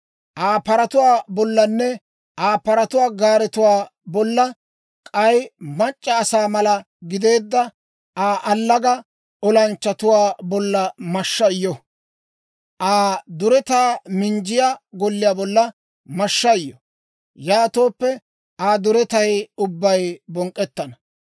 «Aa paratuwaa bollanne Aa paratuwaa gaaretuwaa bolla, k'ay mac'c'a asaa mala gideedda Aa allaga olanchchatuwaa bolla mashshay yo! «Aa duretaa minjjiyaa golliyaa bolla mashshay yo! Yaatooppe Aa duretay ubbay bonk'k'ettana.